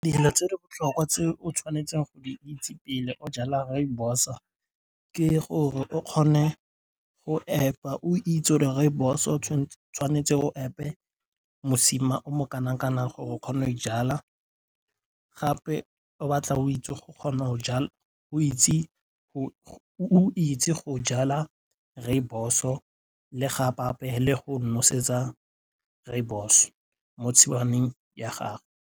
Dilo tse di botlhokwa tse o tshwanetseng go di itse pele o jala rooibos-o ke gore o kgone go apa o itse rooibos-o tshwanetse o epe mosima o mo kana-kanang gore o kgone ijala gape batla o itse go jala rooibos-o le go nosetsa rooibos mo tshingwaneng ya gago.